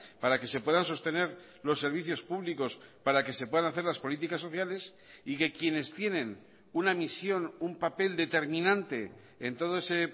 para que se puedan sostener los servicios públicos para que se puedan hacer las políticas sociales y que quienes tienen una misión un papel determinante en todo ese